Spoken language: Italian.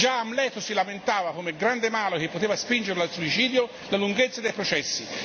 Già Amleto si lamentava, come grande mano che poteva spingerlo al suicidio, della lunghezza dei processi.